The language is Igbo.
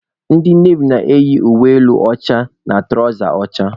Ndị navy na-eyi elu akwa ọcha na tụrawza ọcha.